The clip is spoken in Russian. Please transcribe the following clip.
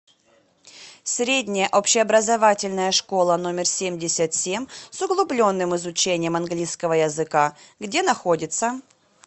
средняя общеобразовательная школа номер семьдесят семь с углубленным изучением английского языка где находится